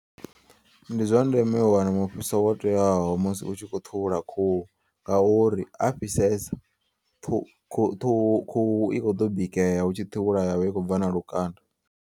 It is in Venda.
Ndi zwandeme u wana mufhiso wo teaho musi utshikho ṱhuvhula khuhu. Ngauri ha fhisesa ṱhu khuhu khuhu i kho ḓo bikea hu ṱhuvhula ya vha i khou bva na lukanda.